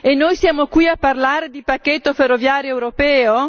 E noi siamo qui a parlare di pacchetto ferroviario europeo?